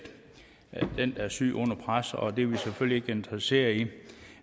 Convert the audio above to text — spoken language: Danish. den der er syg under pres og det er vi selvfølgelig interesseret i